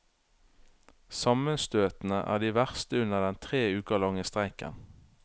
Sammenstøtene er de verste under den tre uker lange streiken.